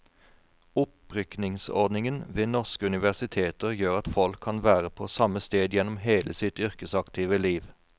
Opprykkningsordningen ved norske universiteter gjør at folk kan være på samme sted gjennom hele sitt yrkesaktive liv.